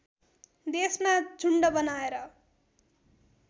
देशमा झुन्ड बनाएर